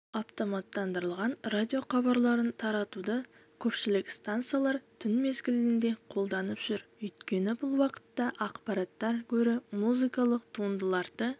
автоматтандырылған радиохабарларын таратуды көпшілік станциялар түн мезгілінде қолданып жүр өйткені бұл уақытта ақпараттан гөрі музыкалық туындыларды